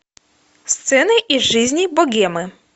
сцены из жизни богемы